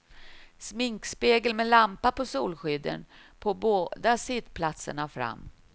Sminkspegel med lampa på solskydden på båda sittplatserna fram.